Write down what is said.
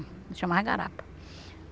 Chamava garapa.